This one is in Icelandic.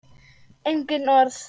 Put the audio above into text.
Engin orð.